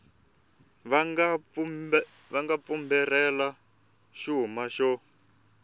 va nga fumbarhela xuma xo